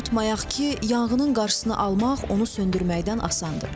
Unutmayaq ki, yanğının qarşısını almaq onu söndürməkdən asandır.